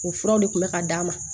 O furaw de tun bɛ ka d'a ma